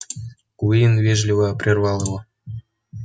куинн вежливо прервал его